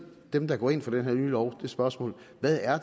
dem der går ind for den her nye lov det spørgsmål hvad er